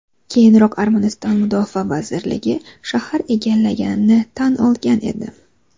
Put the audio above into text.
Keyinroq Armaniston Mudofaa vazirligi shahar egallanganini tan olgan edi .